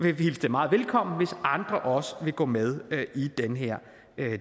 vil hilse det meget velkommen hvis andre også vil gå med i den her